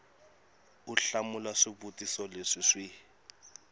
u hlamula swivutiso leswi swi